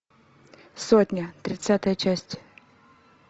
сотня тридцатая часть